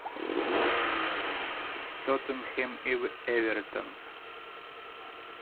тоттенхэм и эвертон